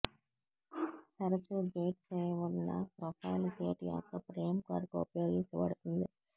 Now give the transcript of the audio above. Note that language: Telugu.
తరచూ గేట్ చేయబడిన ప్రొఫైల్ గేట్ యొక్క ఫ్రేమ్ కొరకు ఉపయోగించబడుతుంది